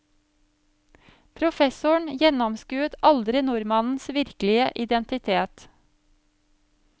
Professoren gjennomskuet aldri nordmannens virkelige identitet.